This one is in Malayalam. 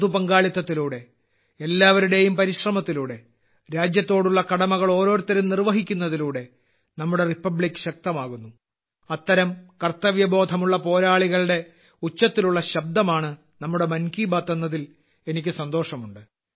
പൊതു പങ്കാളിത്തത്തിലൂടെ എല്ലാവരുടെയും പരിശ്രമത്തിലൂടെ രാജ്യത്തോടുള്ള കടമകൾ ഓരോരുത്തരും നിർവ്വഹിക്കുന്നതിലൂടെ നമ്മുടെ റിപ്പബ്ലിക്ക് ശക്തമാകുന്നു അത്തരം കർത്തവ്യ ബോധമുള്ള പോരാളികളുടെ ഉച്ചത്തിലുള്ള ശബ്ദമാണ് നമ്മുടെ മൻ കി ബാത്ത് എന്നതിൽ എനിക്ക് സന്തോഷമുണ്ട്